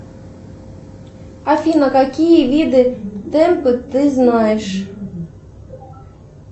афина какие виды темпа ты знаешь